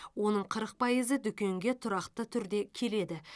оның қырық пайызы дүкенге тұрақты түрде келеді